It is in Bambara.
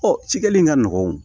cikɛli in ka nɔgɔn